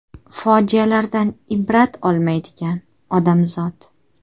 Fojialardan ibrat olmaydigan odamzod.